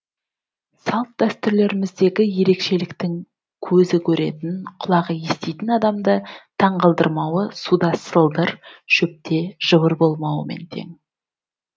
салт дәстүрлеріміздегі ерекшеліктің көзі көретін құлағы еститін адамды таңғалдырмауы суда сылдыр шөпте жыбыр болмауымен тең